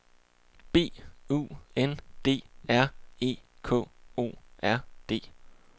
B U N D R E K O R D